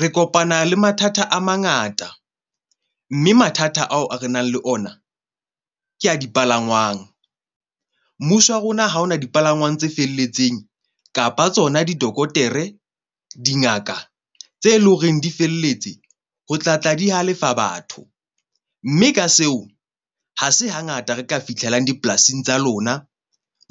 Re kopana le mathata a mangata, mme mathata ao re nang le ona ke ya dipalangwang. Mmuso wa rona ha hona dipalangwang tse felletseng kapa tsona di dokotere dingaka tse leng horeng di felletse ho tla tla di halefa batho. Mme ka seo ha se hangata re ka fitlhelang dipolasing tsa lona.